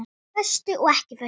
Föstu og ekki föstu.